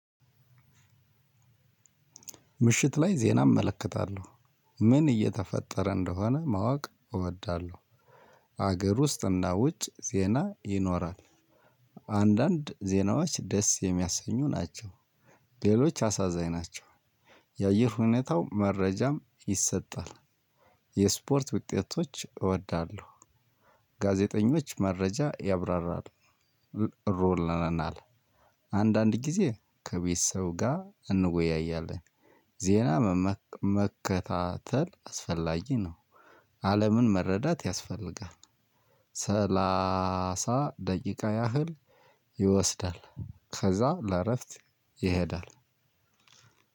ምሽት ላይ ዜና እመለከታለሁ ምን እየተፈጠረ እንደሆነ ማወቅ እወዳለሁ። ሀገር ውስጥ እና ውጭ ዜና ይኖራል አንዳንድ ዜናዎች ደስ የሚያሰኙ ናቸው። ሌሎች አሳዛኝ ናቸው። የአየር ሁኔታው መረጃም ይሰጣል። የስፖርት ውጤቶች እወዳለሁ። ጋዜጠኞች መረጃ ያብራራል። ሮል ነናል። አንዳንድ ጊዜ ከቤት ሰው ጋር እንወያያለን። ዜና ምመ መከታተል አስፈላጊ ነው። አለምን መረዳት ያስፈልጋል። ሰላሳ ደቂቃ ያህል ይወስዳል። ከዛ ለአረፍት ይሄዳል።